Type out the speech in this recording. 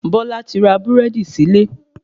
Bọ́lá ti ra Búrẹ́dì sílé